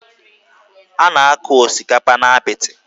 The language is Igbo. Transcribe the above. A na-akụ osikapa n'apịtị